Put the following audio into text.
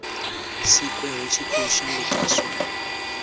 sikwe hu tshi khou shandukiswa